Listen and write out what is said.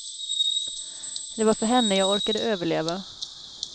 Det var för henne jag orkade överleva.